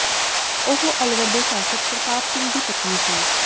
ਉਹ ਅਲਵਰ ਦੇ ਸ਼ਾਸ਼ਕ ਪ੍ਰਤਾਪ ਸਿੰਘ ਦੀ ਪਤਨੀ ਸੀ